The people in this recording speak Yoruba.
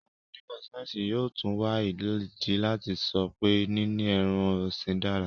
Àwọn onímọ̀-sáyẹ́ńsì yóò tún wá ìdí láti sọ pé níní ẹran-ọ̀sìn dára.